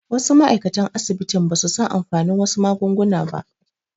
Wasu ma'aikatan asibiti basu san amfanin wasu magunguna ba